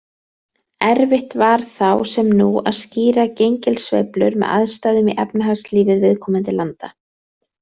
Erfitt var þá, sem nú, að skýra gengissveiflur með aðstæðum í efnahagslífi viðkomandi landa.